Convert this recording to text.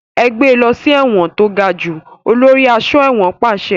Ẹ gbé lọ sí ẹ̀wọ̀n to gajù! Olórí aṣọ́ ẹ̀wọ̀n pàṣẹ.